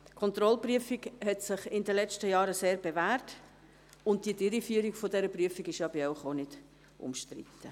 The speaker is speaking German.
Die Kontrollprüfung hat sich in den letzten Jahren sehr bewährt, und die Durchführung dieser Prüfung ist ja bei Ihnen auch nicht umstritten.